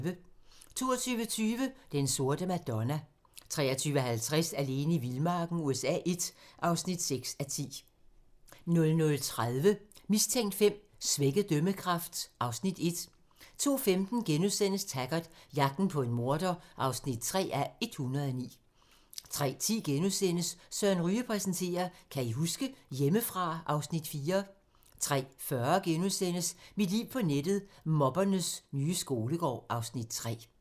22:20: Den sorte Madonna 23:50: Alene i vildmarken USA I (6:10) 00:30: Mistænkt V: Svækket dømmekraft (Afs. 1) 02:15: Taggart: Jagten på en morder (3:109)* 03:10: Søren Ryge præsenterer: Kan I huske? - Hjemmefra (Afs. 4)* 03:40: Mit liv på nettet: Mobbernes nye skolegård (Afs. 3)*